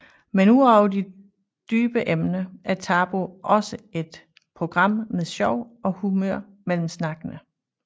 Men udover de dybe emner er Tabu også et program med sjov og humør mellem snakkene